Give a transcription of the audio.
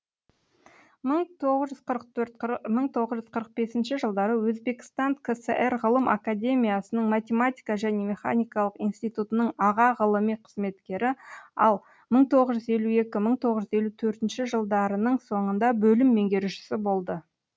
мың тоғыз жүз ұырық төрт мың тоғыз жүз қырық бесінші жылдары өзбекістан кср ғылым академиясының математика және механикалық институтының аға ғылыми қызметкері ал мың тоғыз жүз елу екі мың тоғыз жүз елу төртінші жылдарының сонында бөлім меңгерушісі болды